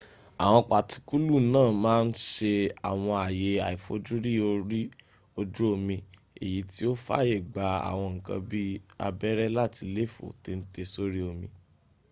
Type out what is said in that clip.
àwọn patikulu náà màa ǹ sẹ àwọn àyè àifojúrí orí ojú omi èyí tí o fàyè gbà àwọn nkan bi abẹ́rẹ́ láti léèfó téńté sórí omi